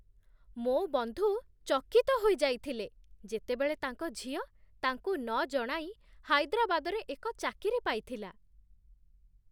ମୋ ବନ୍ଧୁ ଚକିତ ହୋଇଯାଇଥିଲେ ଯେତେବେଳେ ତାଙ୍କ ଝିଅ ତାଙ୍କୁ ନଜଣାଇ ହାଇଦ୍ରାବାଦରେ ଏକ ଚାକିରି ପାଇଥିଲା।